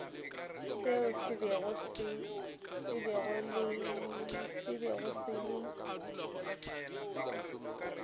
seo se bego se le